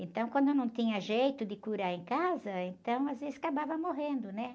Então, quando não tinha jeito de curar em casa, então, às vezes, acabava morrendo, né?